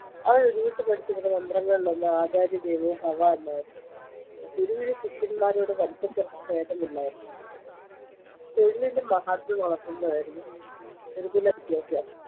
അവൻ ഉരുവിട്ടു പഠിച്ചിരുന്ന മന്ത്രങ്ങളിലൊന്ന് ആചാര്യ ദേവോ ഭവ എന്നായിരുന്നു ഗുരുവിന് ശിഷ്യന്മാ രോട് വലിപ്പചെറുപ്പഭേദമില്ലായിരുന്നു തൊഴിലിന്റെ മാഹാത്മ്യം വളർത്തുന്നതായിരുന്നു ഗുരുകുലവിദ്യാഭ്യാസം